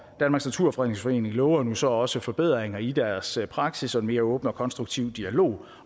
naturfredningsforening lover nu så også forbedringer i deres praksis og mere åben og konstruktiv dialog